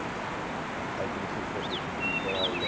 Aí, comecei fazer fultibole.